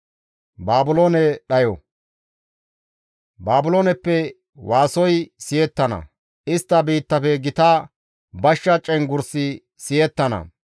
«Baabilooneppe waasoy siyettana; istta biittafe gita bashsha cenggurssi siyettana.